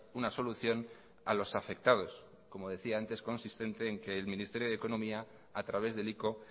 una solución a los afectados como decía antes consistente el ministerio de economía a través del ico